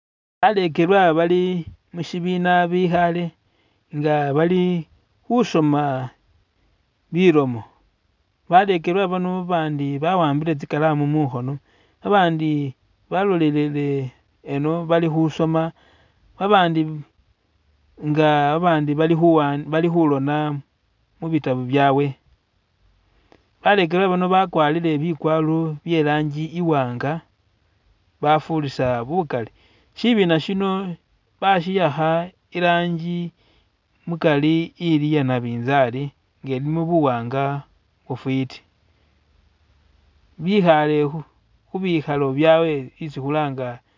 Balegelwa bali mushibina bikhale nga bali khusoma bilomo balekelwa bano bandi bahambile tsikalamu mukhono abandi balolelele ino bali khusoma babandi nga babandi ali hulona mubitabu byaawe balekelwa bano bakwarile bigwaro byelangi iwanga bafurisa bugali shibina shino bashihakha irangi mukari li iyenabizali nga lilimo buwang bufitibikhale khubikhalo byao